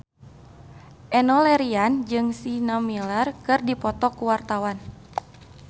Enno Lerian jeung Sienna Miller keur dipoto ku wartawan